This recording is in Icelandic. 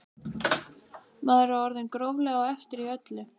Maður er orðinn gróflega á eftir í öllu.